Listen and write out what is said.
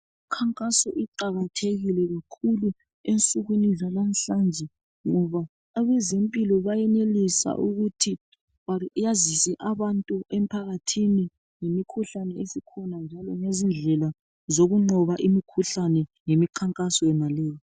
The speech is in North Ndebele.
Imikhankaso iqakathekile kakhulu, ensukwini zalamuhlanje. Ngoba abezempilo bayenelisa ukuthi bayazise abantu emphakathini, ngemikhuhlane esikhona, njalo lezindlela zokunqoba imikhuhlane, ngemikhankaso, yonaleyo.